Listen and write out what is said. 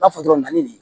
N'a fɔ dɔrɔn na ni